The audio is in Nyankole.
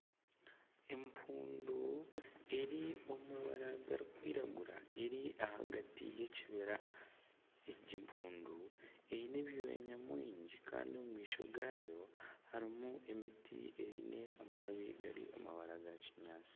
Empundu eri omu mabara garikwiragura eri ahagati y'ekibira egi mpundu eine ebyoya nyawingi kandi omu maisho gaayo harimu emiti eine amababi gari omu mabara ga kinyaatsi